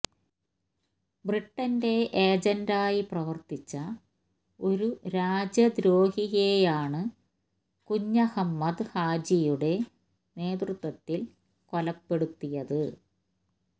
ബ്രിട്ടന്റെ ഏജന്റായി പ്രവര്ത്തിച്ച ഒരു രാജ്യദ്രോഹിയെയാണ് കുഞ്ഞഹമ്മദ് ഹാജിയുടെ നേതൃത്വത്തില് കൊലപ്പെടുത്തിയത്